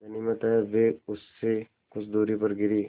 गनीमत है वे उससे कुछ दूरी पर गिरीं